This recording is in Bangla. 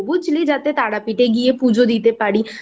বুঝলি যাতে তারাপীঠ এ গিয়ে পুজো দিতে পারি